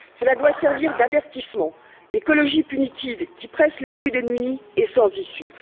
Cela doit servir d'avertissement l'écologie punitive, qui presse les plus démunis, est sans issue.